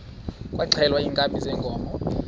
kwaxhelwa iinkabi zeenkomo